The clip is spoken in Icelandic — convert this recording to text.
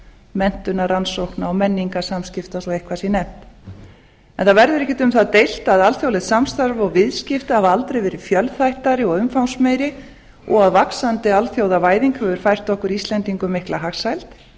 menntunar rannsókna og menningarsamskipta svo eitthvað sé nefnt það verður ekkert um það deilt að alþjóðlegt samstarf og viðskipti hafa aldrei verið fjölþættari og umfangsmeiri og að vaxandi alþjóðavæðing hefur fært okkur íslendingum mikla hagsæld